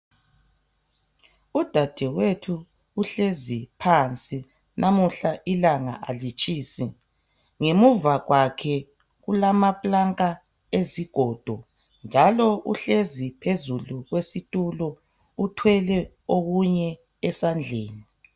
Udade wethu uhlezi phandle namuhla ilanga alitshisi ngemuvakwakhe kulapulanka ezigodo njalo uhlezi phezu kwe situlo uthwele okunye esandleni.